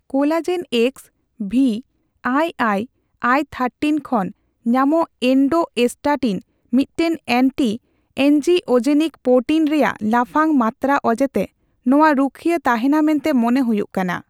Collagen X ,V, I I, I thirteen ᱠᱷᱚᱱ ᱧᱢᱚᱜ endostatin, ᱢᱤᱫᱴᱟᱝ ᱮᱱᱴᱤᱼᱮᱱᱧᱡᱤᱳᱡᱮᱱᱤᱠ ᱯᱳᱨᱴᱤᱱ ᱨᱮᱭᱟᱜ ᱞᱟᱯᱷᱟᱝ ᱢᱟᱛᱛᱟᱨᱟ ᱚᱡᱮᱛᱮ ᱱᱚᱣᱟ ᱨᱩᱠᱷᱭᱟᱹ ᱛᱟᱦᱮᱸᱱᱟ ᱢᱮᱱᱛᱮ ᱢᱚᱱᱮ ᱦᱳᱭᱳᱜ ᱠᱟᱱᱟ ᱾